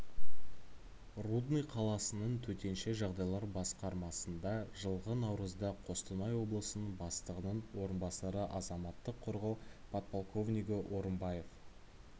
рудный қаласының төтенше жағдайлар басқармасында жылғы наурызда қостанай облысының бастығының орынбасары азаматтық қорғау подполковнигі орымбаев